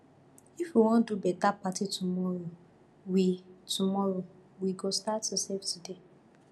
if we wan do beta party tomorrow we tomorrow we go start to save today